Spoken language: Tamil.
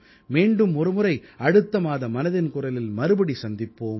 மீண்டும் ஒருமுறை அடுத்த மாத மனதின் குரலில் மறுபடியும் சந்திப்போம்